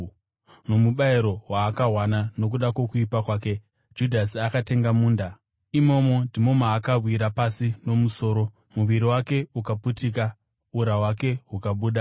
(Nomubayiro waakawana nokuda kwokuipa kwake, Judhasi akatenga munda; imomo ndimo maakawira pasi nomusoro, muviri wake ukaputika, ura hwake hukabuda.